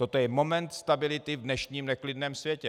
Toto je moment stability v dnešním neklidném světě.